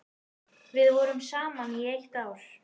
Við vorum saman í eitt ár.